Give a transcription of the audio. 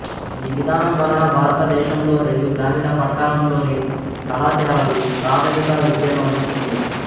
ఈ విధానం వలన భారతదేశంలో రెండు గ్రామీణ పట్టణంలోని కళాశాలలు ప్రాథమిక విద్యను అందిస్తుంది